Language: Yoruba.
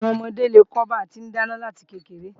Àwọn ọmọdé lè kọ́ ba ti ń dáná láti kékeré